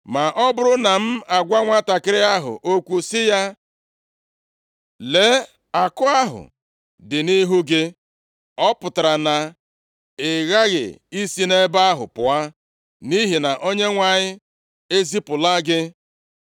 Ma ọ bụrụ na m agwa nwantakịrị ahụ okwu sị ya, ‘Lee, àkụ ahụ dị nʼihu gị,’ ọ pụtara na ị ghaghị isi nʼebe a pụọ, nʼihi na Onyenwe anyị ezipụla gị.